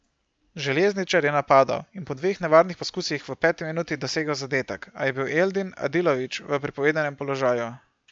Željezničar je napadal in po dveh nevarnih poskusih v peti minuti dosegel zadetek, a je bil Eldin Adilović v prepovedanem položaju.